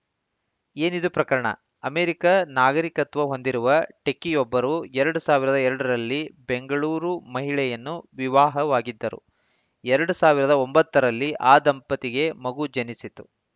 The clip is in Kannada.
ಏನಿದು ಪ್ರಕರಣ ಅಮೆರಿಕ ನಾಗರಿಕತ್ವ ಹೊಂದಿರುವ ಟೆಕ್ಕಿಯೊಬ್ಬರು ಎರಡ್ ಸಾವಿರದ ಎರಡರಲ್ಲಿ ಬೆಂಗಳೂರು ಮಹಿಳೆಯನ್ನು ವಿವಾಹವಾಗಿದ್ದರು ಎರಡ್ ಸಾವಿರದ ಒಂಬತ್ತರಲ್ಲಿ ಈ ದಂಪತಿಗೆ ಮಗು ಜನಿಸಿತು